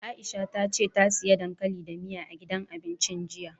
Aisha ta ce ta siya dankali da miya, a gidan abincin jiya.